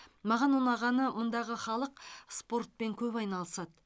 маған ұнағаны мұндағы халық спортпен көп айналысады